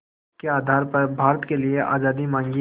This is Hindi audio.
के आधार पर भारत के लिए आज़ादी मांगी